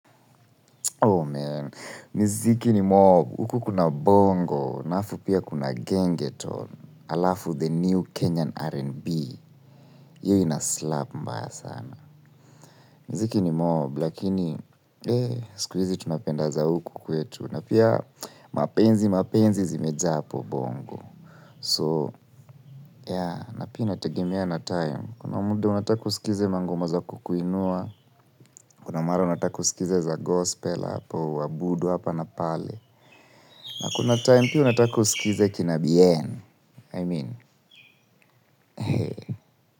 Oh man, miziki ni mob, huku kuna bongo, na afu pia kuna gengeton, alafu the new Kenyan R&B, hiyo inaslap mbaya sana. Miziki ni mob, lakini, eh, sikuizi tunapenda za huku kwetu, na pia mapenzi mapenzi zimejaa hapo bongo. So, yeah, napia inategemea na time, kuna muda unataka usikize mangoma za kukuinua, kuna mara unataka usikize za gospel hapo, uwabudu hapa na pale. Na kuna time pia unataka usikize kina Bien I mean.